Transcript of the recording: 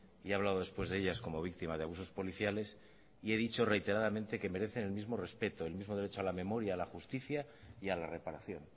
y he hablado después de ellas como víctima de abusos policiales y he dicho reiteradamente que merecen el mismo respeto el mismo derecho a la memoria a la justicia y a la reparación